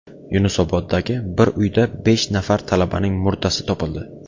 Yunusoboddagi bir uyda besh nafar talabaning murdasi topildi .